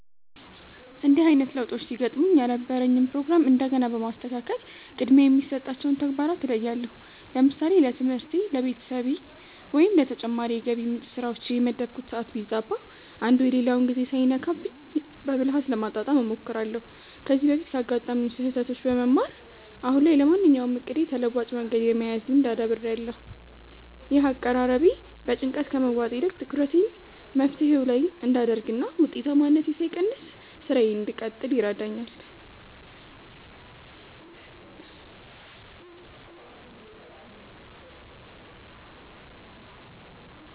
እንዲህ አይነት ለውጦች ሲገጥሙኝ የነበረኝን ፕሮግራም እንደገና በማስተካከል ቅድሚያ የሚሰጣቸውን ተግባራት እለያለሁ። ለምሳሌ ለትምህርቴ፣ ለቤተሰቤ ወይም ለተጨማሪ የገቢ ምንጭ ስራዎቼ የመደብኩት ሰዓት ቢዛባ፣ አንዱ የሌላውን ጊዜ ሳይነካብኝ በብልሃት ለማጣጣም እሞክራለሁ። ከዚህ በፊት ካጋጠሙኝ ስህተቶች በመማር፣ አሁን ላይ ለማንኛውም እቅዴ ተለዋጭ መንገድ የመያዝ ልምድ አዳብሬያለሁ። ይህ አቀራረቤ በጭንቀት ከመዋጥ ይልቅ ትኩረቴን መፍትሄው ላይ እንድ አደርግ እና ውጤታማነቴ ሳይቀንስ ስራዬን እንድቀጥል ይረዳኛል።